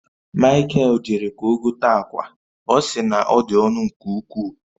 Mikael jere ka ọ gote akwa, ọ si na ọ dị ọnụ nke ukwuu